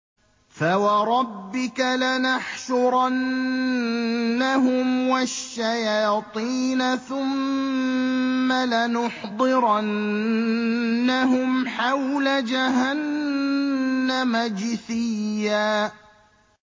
فَوَرَبِّكَ لَنَحْشُرَنَّهُمْ وَالشَّيَاطِينَ ثُمَّ لَنُحْضِرَنَّهُمْ حَوْلَ جَهَنَّمَ جِثِيًّا